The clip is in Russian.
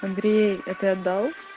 андрей а ты отдал